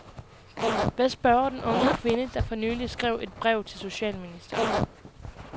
Hvad spørger den unge kvinde, der for nylig skrev et brev til socialministeren?